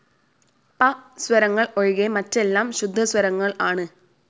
പ സ്വരങ്ങൾ ഒഴികെ മറ്റെല്ലാം ശുദ്ധസ്വരങ്ങൾ ആണ്.